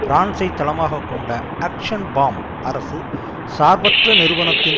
பிரான்சை தளமாக கொண்ட Action Faim அரசு சார்பற்ற நிறுவனத்தின்